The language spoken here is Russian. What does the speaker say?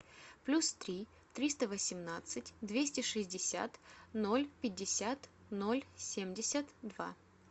плюс три триста восемнадцать двести шестьдесят ноль пятьдесят ноль семьдесят два